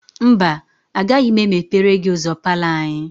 Mba, agaghị m emepere gị ụzọ palọ anyị.